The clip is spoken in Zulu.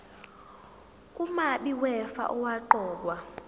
umabi wefa owaqokwa